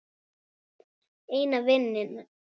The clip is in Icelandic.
Eina vininn.